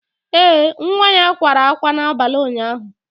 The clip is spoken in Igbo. Ee, nwa ya kwara ákwá n'abalị ụnyaahụ